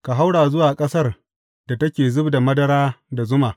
Ka haura zuwa ƙasar da take zub da madara da zuma.